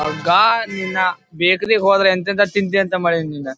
ಹೋಗ್ ನಿನ್ನ ಬೆಕ್ರಿಗೆ ಹೋದ್ರೆ ಎಂತ ಎಂತ ತಿಂಡಿ ಮಾಡೇನಿನ್.